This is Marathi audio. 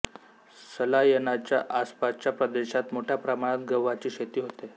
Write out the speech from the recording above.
सलायनाच्या आसपासचा प्रदेशात मोठ्या प्रमाणात गव्हाची शेती होते